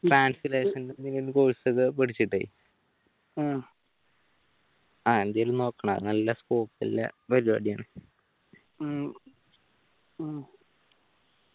translation course ഒക്കെ പഠിച്ചിട്ട് ആഹ് എന്തേലും നോക്കണം നല്ല Scope ഉള്ള പരിപാടിയാണ്